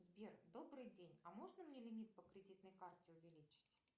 сбер добрый день а можно мне лимит по кредитной карте увеличить